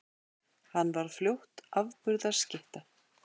Hann varð fljótt afburða skytta.